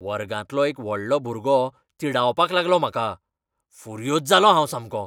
वर्गांतलो एक व्हडलो भुरगो तिडावपाक लागलो म्हाका, फुर्योज जालों हांव सामकों.